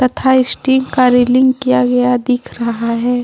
तथा स्टील का रेलिंग किया गया दिख रहा है।